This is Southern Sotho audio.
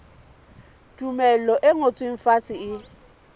tumello e ngotsweng fatshe e